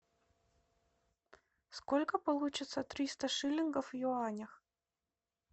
сколько получится триста шиллингов в юанях